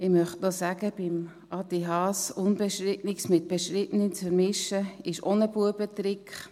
Zu Adrian Haas möchte ich sagen: Unbestrittenes mit Bestrittenem zu vermischen, ist auch ein «Buebetrick».